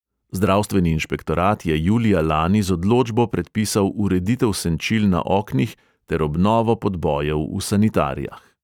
Zdravstveni inšpektorat je julija lani z odločbo predpisal ureditev senčil na oknih ter obnovo podbojev v sanitarijah.